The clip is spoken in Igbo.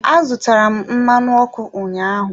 Azụtara m mmanụ ọkụ ụnyaahụ.